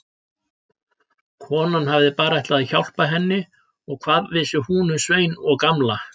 Konan hafði bara ætlað að hjálpa henni og hvað vissi hún um Svein og Gamla.